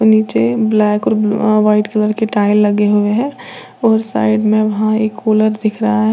नीचे ब्लैक और white colour के टाइल्स लगे हुए हैं और साइड में वहां एक कुलर दिख रहा है।